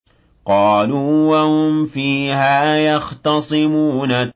قَالُوا وَهُمْ فِيهَا يَخْتَصِمُونَ